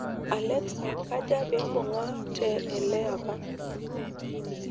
alexa kaja vimpunga te ele apa